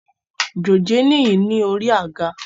Dòjé níyìí ni orí àga